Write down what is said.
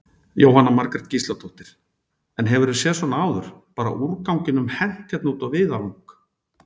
Jóhanna Margrét Gísladóttir: En hefurðu séð svona áður, bara úrganginum hent hérna út á víðavang?